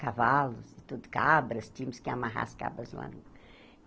Cavalos e tudo, cabras, tínhamos que amarrar as cabras lá.